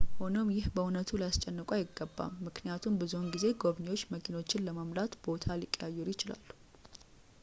ሆኖም ይህ በእውነቱ ሊያስጨንቅዎ አይገባም ምክንያቱም ብዙውን ጊዜ ጎብኚዎች መኪኖቹን ለመሙላት ቦታ ሊቀያየሩ ይችላሉ